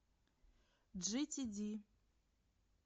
джитиди